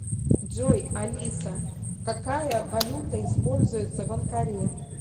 джой алиса какая валюта используется в анкаре